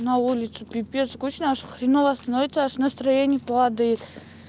на улицу пипец скучно очень хреново становится настроение падает